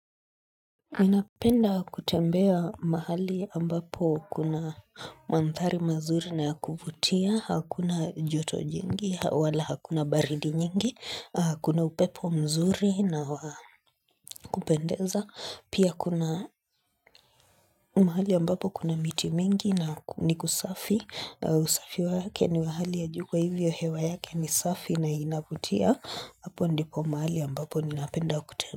Ninapenda kutembea mahali ambapo kuna mandhari mazuri na kuvutia, hakuna joto jingi, wala hakuna baridi nyingi, kuna upepo mzuri na kupendeza, pia kuna mahali ambapo kuna miti mingi na ni kusafi, usafi wake ni wa hali ya juu kwa hivyo hewa yake ni safi na inavutia, hapo ndipo mahali ambapo ninapenda kutembea.